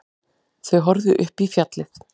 Þau horfðu upp í fjallið.